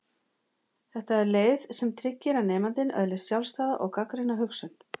Þetta er leið sem tryggir að nemandinn öðlist sjálfstæða og gagnrýna hugsun.